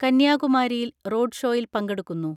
കന്യാകുമാരിയിൽ റോഡ്ഷോയിൽ പങ്കെടുക്കുന്നു.